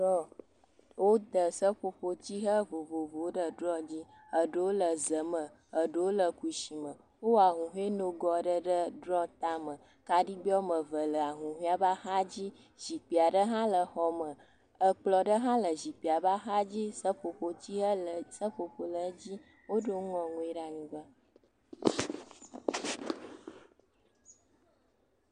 Drɔ, wode seƒoƒotsihe vovovowo ɖe drɔ dzi. Eɖewo le ze me, eɖewo le kushi me. Wowɔ ahuhɔe nogo aɖe ɖe drɔ tame. Kaɖigbe wo ame eve le ahuhɔea ƒe axadzi. Zikpui aɖe hã le xɔa me. Ekplɔ̃ ɖe hã le zikpuia ƒe axadzi seƒoƒo le edzi Woɖo nu ŋɔŋɔe ɖe anyigba.